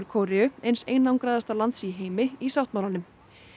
Kóreu eins einangraðasta lands í heimi í sáttmálanum